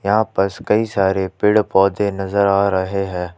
यहां पस कई सारे पेड़ पौधे नजर आ रहे हैं।